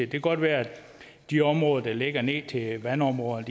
kan godt være at de områder der ligger ned til et vandområde